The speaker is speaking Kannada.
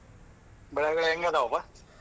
ಬೆಳೆ ಗಿಳೆ ಎಂಗದವಪ್ಪ?